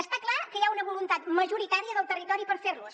està clar que hi ha una voluntat majoritària del territori per fer los